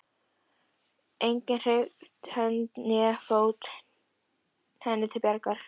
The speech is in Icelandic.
Enginn hreyft hönd né fót henni til bjargar.